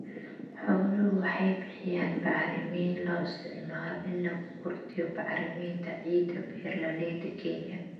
Xooluhu waxay bixiyaan bacrimin loo isticmaalo in lagu kordhiyo bacriminta ciidda beeralayda Kenya.